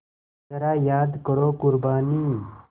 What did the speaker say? ज़रा याद करो क़ुरबानी